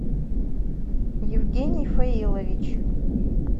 евгений фаилович